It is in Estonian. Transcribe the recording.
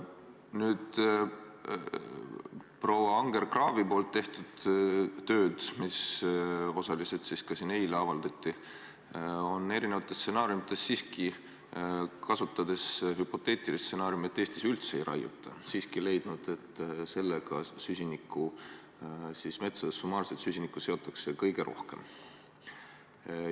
Aga proua Anger-Kraavi tehtud töös, mis osaliselt ka siin eile avaldati, on erinevates stsenaariumides – kasutades hüpoteetilist stsenaariumi, et Eestis üldse ei raiuta – siiski leitud, et sedasi seotakse metsades summaarselt süsinikku kõige rohkem.